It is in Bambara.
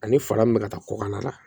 Ani fara min bɛ ka taa kɔkan na